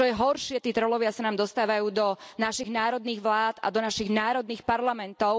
Čo je horšie, tí trollovia sa nám dostávajú do našich národných vlád a do našich národných parlamentov.